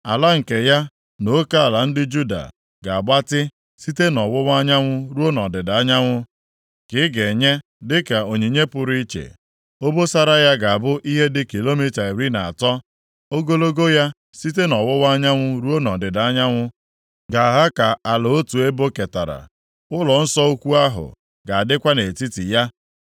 “Ala nke ya na oke ala ndị Juda ga-agbatị site nʼọwụwa anyanwụ ruo nʼọdịda anyanwụ, ka ị ga-enye dịka onyinye pụrụ iche. Obosara ya ga-abụ ihe dị kilomita iri na atọ. Ogologo ya site nʼọwụwa anyanwụ ruo nʼọdịda anyanwụ ga-aha ka ala otu ebo ketara. Ụlọnsọ ukwu ahụ ga-adịkwa nʼetiti ya.